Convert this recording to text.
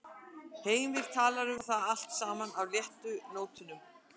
Heimir talaði um það allt saman á léttu nótunum.